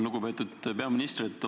Lugupeetud peaminister!